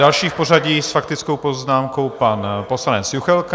Další v pořadí s faktickou poznámkou pan poslanec Juchelka.